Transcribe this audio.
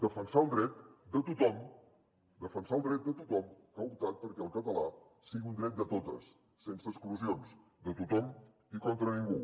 defensar el dret de tothom defensar el dret de tothom que ha optat perquè el català sigui un dret de totes sense exclusions de tothom i contra ningú